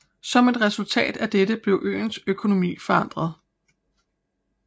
Som et resultat af dette blev øens økonomi forandret